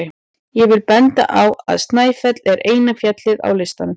Ég vil benda á að Snæfell er eina fjallið á listanum.